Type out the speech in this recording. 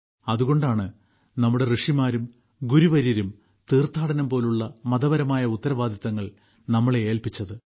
അതുകൊണ്ടാണ് നമ്മുടെ ഋഷിമാരും ഗുരുവര്യരും തീർത്ഥാടനം പോലുള്ള മതപരമായ ഉത്തരവാദിത്തങ്ങൾ നമ്മളെ ഏൽപ്പിച്ചത്